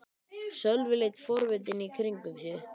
Sölvi leit forvitinn í kringum sig.